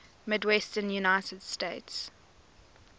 midwestern united states